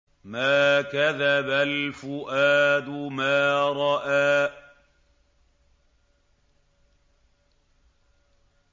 مَا كَذَبَ الْفُؤَادُ مَا رَأَىٰ